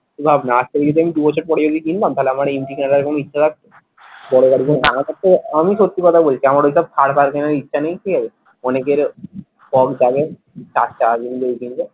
এখন ভাব না আজ থেকে যদি আমি দু বছর পরে যদি কিনতাম তাহলে আমার বড় গাড়ি আমি সত্যি কথা বলছি আমার ঐসব থার ফার কেনার ইচ্ছা নেই ঠিক আছে অনেকের কম দামে চার চাকা